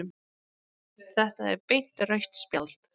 Þetta er beint rautt spjald